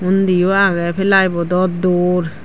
undiyo agey ply bodo dor.